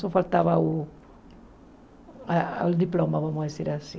Só faltava o a o diploma, vamos dizer assim.